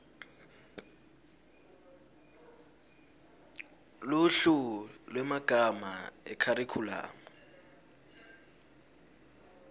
luhlu lwemagama ekharikhulamu